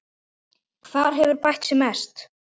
Hver hefur bætt sig mest?